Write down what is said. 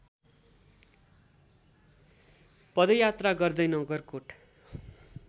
पदयात्रा गर्दै नगरकोट